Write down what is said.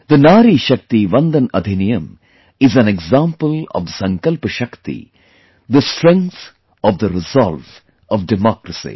The Nari Shakti VandanAdhiniyam is an example of the Sankalp Shakti, the strength of the resolve of the Democracy